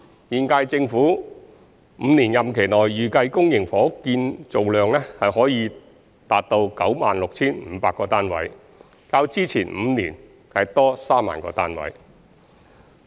現屆政府5年任期內，預計公營房屋建造量可達到 96,500 個單位，較之前5年多3萬個單位。